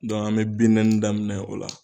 an bɛ daminɛ o la